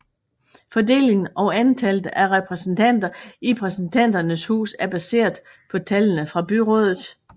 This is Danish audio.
Fordelingen og antallet af repræsentanter i Repræsentanternes hus er baseret på tallene fra byrådet